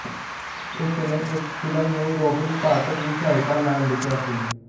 ਉਸਨੇ ਇਸ ਫ਼ਿਲਮ ਨੂੰ ਰੌਬਿਨ ਭੱਟ ਦੀ ਸਹਾਇਤਾ ਨਾਲ ਲਿਖਿਆ ਸੀ